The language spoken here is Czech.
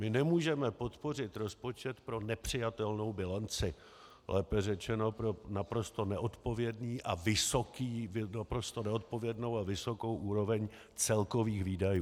My nemůžeme podpořit rozpočet pro nepřijatelnou bilanci, lépe řečeno pro naprosto neodpovědnou a vysokou úroveň celkových výdajů.